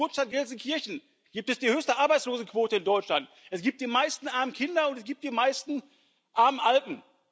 In meiner Geburtsstadt Gelsenkirchen gibt es die höchste Arbeitslosenquote in Deutschland, es gibt die meisten armen Kinder, und es gibt die meisten armen Alten.